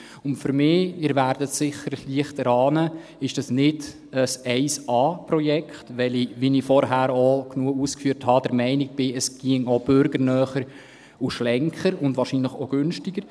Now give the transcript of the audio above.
Und für mich – Sie werden es sicher erahnen – ist dies nicht ein 1A-Projekt, weil ich, wie ich vorher genügend ausgeführt habe, der Meinung bin, es ginge auch bürgernäher, schlanker und wahrscheinlich günstiger.